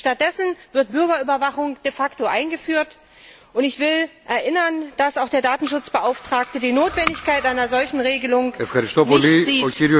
Stattdessen wird Bürgerüberwachung de facto eingeführt, und ich will daran erinnern, dass auch der Datenschutzbeauftragte die Notwendigkeit einer solchen Regelung nicht sieht.